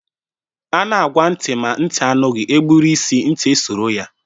A na-agwa ntị ma ntị anụghị, e gburu isi ntị esoro ya.